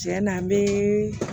Tiɲɛ na n be